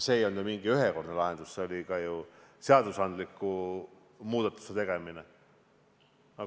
See ei olnud ju mingi ühekordne lahendus, see oli ka seadustes muudatuse tegemine.